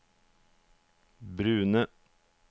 brune